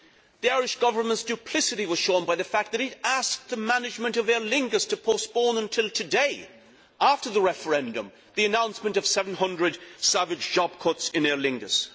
The Irish Government's duplicity was shown by the fact that it asked the management of Aer Lingus to postpone until today, after the referendum, the announcement of 700 savage job cuts in Aer Lingus.